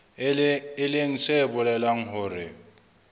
e leng se bolelang hore